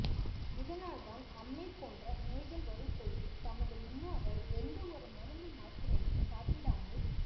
இதனால்தான் அம்மை போன்ற நோய்கள் வரும் பொழுது நமது முன்னோர்கள் எந்த ஒரு மருந்து மாத்திரையும் சாப்பிடாமல்